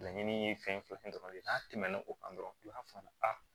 Laɲini ye fɛn fɛn ye n'a tɛmɛn'o kan dɔrɔn u b'a fɔ a